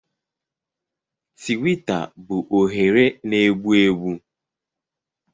Tiwita bụ oghere na-egbu egbu.